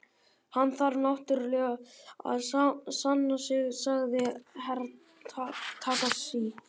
Hann þarf náttúrulega að sanna sig, sagði Herra Takashi.